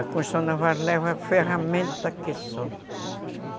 A construção naval ela leva ferramenta que só